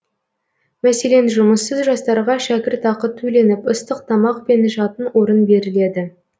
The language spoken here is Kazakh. мәселен жұмыссыз жастарға шәкіртақы төленіп ыстық тамақ пен жатын орын беріледі